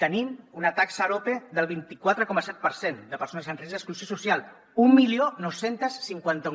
tenim una taxa arope del vint quatre coma set per cent de persones en risc d’exclusió social dinou cinquanta u